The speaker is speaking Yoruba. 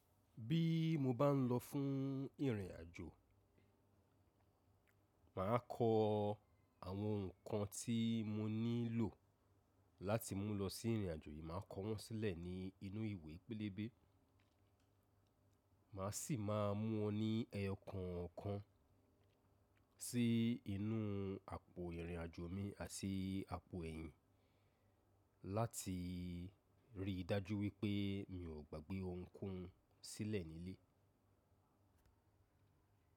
Bí mo bá ń lọ fún ìrìn àjò, màá kọ àwọn nǹkan tí mo nílò láti mú lọ sí ìrìn àjò yìí, màá kọ wọ́n sílẹ̀ nínú ìwé pélébé. Màá sì máa mú wọn ní ẹyo kànkan sí inú àpò ìrìn àjò mi àti àpò ẹ̀yìn láti rí dájú wípé mi ò gbàgbé ohunkóhun sílẹ̀ nílé.